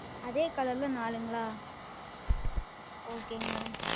அதே Color ல் நாலுங்களா Okay Madam